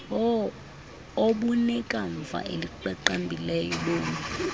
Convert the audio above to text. obunekamva eliqaqambileyo bomi